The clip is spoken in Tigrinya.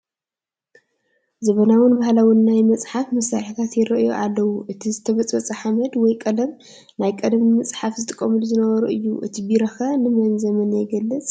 ዘበናዉን ባህላውን ናይ መፅሓፊ መሳርሐታት ይራኣዩ ኣለው፡፡ እቲ ዝተበፅበፀ ሓመድ ወይ ቀለም ናይ ቀደም ንምፅሓፍ ዝጥቀምሉ ዝነበሩ እዩ፡፡ እቲ ቢሮ ኸ ንመን ዘመን ይገልግፅ?